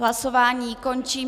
Hlasování končím.